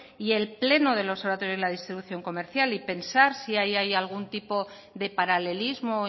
y el pleno del observatorio y la distribución comercial y pensar si hay algún tipo de paralelismo